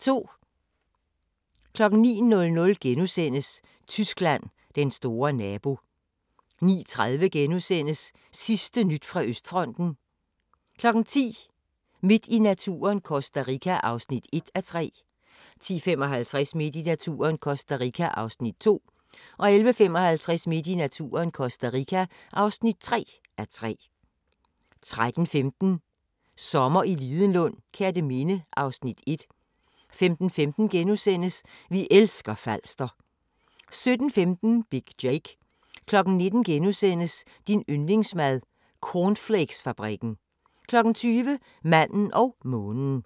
09:00: Tyskland: Den store nabo * 09:30: Sidste nyt fra Østfronten * 10:00: Midt i naturen – Costa Rica (1:3) 10:55: Midt i naturen - Costa Rica (2:3) 11:55: Midt i naturen – Costa Rica (3:3) 13:15: Sommer i Lidenlund: Kerteminde (Afs. 1) 15:15: Vi elsker Falster * 17:15: Big Jake 19:00: Din yndlingsmad: Cornflakesfabrikken * 20:00: Manden og månen